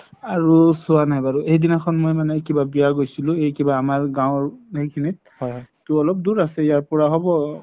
আৰু চোৱা নাই বাৰু এইদিনাখ্ন মানে মই বিয়া গৈছিলো আমাৰ গাওঁৰ সেইখিনিত তো অলপ দুৰ আছে ইয়াৰ পৰা হব